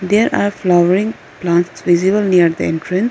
there are flowering plants visible near the entrance.